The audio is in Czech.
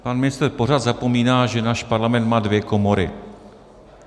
Pan ministr pořád zapomíná, že náš Parlament má dvě komory.